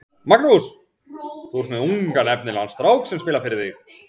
Magnús: Þú er með ungan efnilegan strák sem spilar fyrir þig?